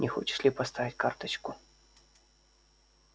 не хочешь ли поставить карточку